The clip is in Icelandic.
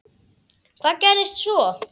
Hvað gerðist svo?